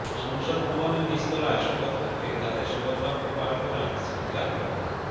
সংসদ ভবনের নিচতলায় শপথ কক্ষে তাদের শপথবাক্য পাঠ করান স্পিকার ড